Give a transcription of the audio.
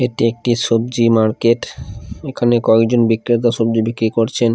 এটি একটি সবজি মার্কেট এখানে কয়েকজন বিক্রেতা সবজি বিক্রি করছেন ।